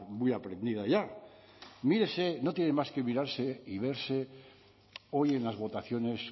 muy aprendida ya mírese no tiene más que mirarse y verse hoy en las votaciones